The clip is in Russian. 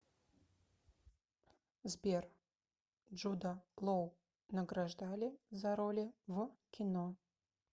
сбер джуда лоу награждали за роли в кино